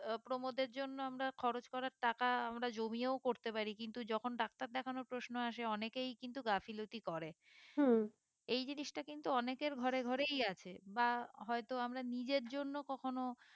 আহ প্রমোদের জন্য আমরা খরচ করার টাকা আমরা জমিও করতে পারি কিন্তু যখন ডাক্তার দেখানোর প্রশ্ন আসে অনেকেই কিন্তু গাফিলতি করে এই জিনিসটা কিন্তু অনেকের ঘরে ঘরেই আছে বা হয়তো আমরা নিজের জন্য কখনো